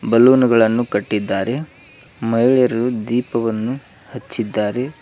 ಬಲೂನ್ಗ ಳನ್ನು ಕಟ್ಟಿದ್ದಾರೆ ಮಹಿಳೆಯರು ದೀಪವನ್ನು ಹಚ್ಚಿದ್ದಾರೆ.